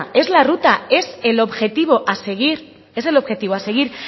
pero es la ruta es el objetivo a seguir